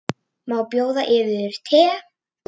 Má bjóða yður te?